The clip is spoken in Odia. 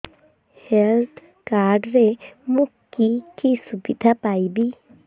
ହେଲ୍ଥ କାର୍ଡ ରେ ମୁଁ କି କି ସୁବିଧା ପାଇବି